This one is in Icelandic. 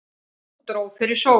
Nú dró fyrir sólu.